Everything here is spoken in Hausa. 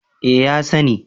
Eh ya sani